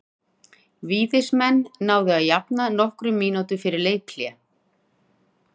Víðismenn náðu að jafna nokkrum mínútum fyrir leikhlé.